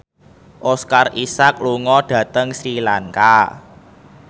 Oscar Isaac lunga dhateng Sri Lanka